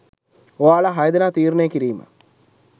ඔයාලා හය දෙනා තීරණය කිරීම.